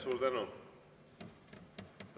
Suur tänu!